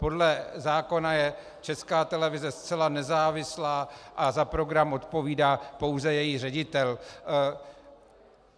Podle zákona je Česká televize zcela nezávislá a za program odpovídá pouze její ředitel.